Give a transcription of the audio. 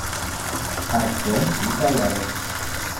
артем николаев